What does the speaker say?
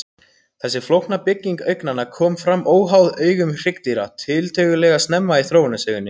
Þessi flókna bygging augnanna kom fram óháð augum hryggdýra tiltölulega snemma í þróunarsögunni.